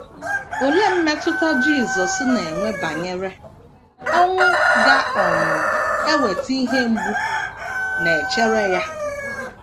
Olee mmetụta Jisọs na - enwe banyere ọnwụ ga - um eweta ihe mgbu na - echere ya?